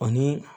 Ani